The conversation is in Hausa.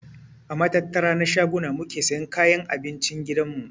A matattara na shaguna muke siyan kayan abincin gidan mu.